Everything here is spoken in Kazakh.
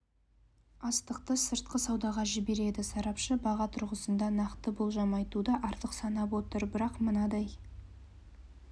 астықты сыртқы саудаға жібереді сарапшы баға тұрғысында нақты болжам айтуды артық санап отыр бірақ мынадай